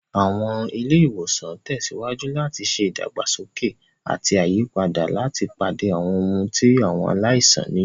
Àwọn ilé ìwòsàn ń tẹ̀síwájú láti ṣe ìdàgbàsókè àti àyípadà láti pàdé àwọn ohun tí àwọn aláìsàn nílò.